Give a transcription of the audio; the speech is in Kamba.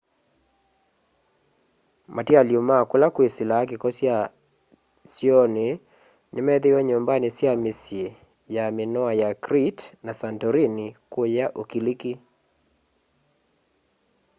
matialy'o ma kula kwĩsĩlaa kĩko kya syoonĩ nĩmethĩĩwe nyumbanĩ sya mĩsyĩ ya minoa ya crete na santorini kũya ũkiliki